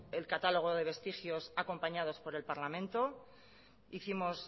el catálogo de vestigios acompañados por el parlamento hicimos